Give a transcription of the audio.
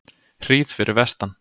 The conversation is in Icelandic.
hríð fyrir vestan